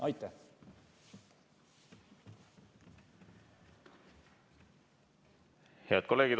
Head kolleegid!